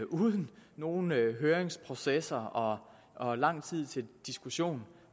uden nogen høringsprocesser og og lang tid til diskussion